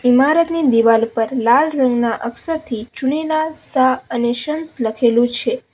ઈમારતની દિવાલ પર લાલ રંગના અક્ષરથી ચુનીલાલ શાહ અને સન્સ લખેલું છે.